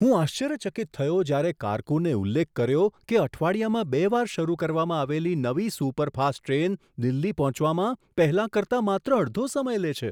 હું આશ્ચર્યચકિત થયો જ્યારે કારકુનએ ઉલ્લેખ કર્યો કે અઠવાડિયામાં બે વાર શરૂ કરવામાં આવેલી નવી સુપરફાસ્ટ ટ્રેન દિલ્હી પહોંચવામાં પહેલાં કરતાં માત્ર અડધો સમય લે છે!